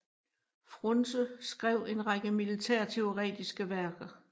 Frunse skrev en række militærteoretiske værker